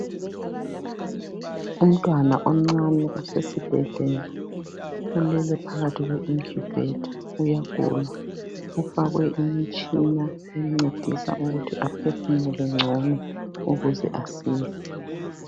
Umntwana omncane osesibhedlela ulele phakathi kwe incubator uyagula. Ufakwe imitshina emncedisa ukuthi aphefumule ngcono ukuze asile.